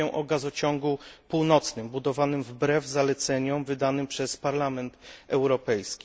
Mówię o gazociągu północnym budowanym wbrew zaleceniom wydanym przez Parlament Europejski.